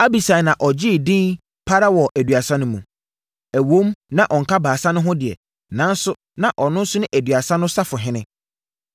Abisai na ɔgyee edin pa ara wɔ Aduasa no mu. Ɛwom na ɔnka Baasa no ho deɛ, nanso na ɔno ne Aduasa no safohene.